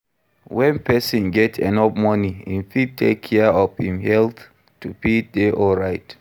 When persin get enough money im fit take care of I'm health to fit de alright